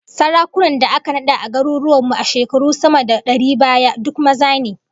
Sarakunan da aka nada a garuruwan mu a shekaru sama da dari baya, duk maza ne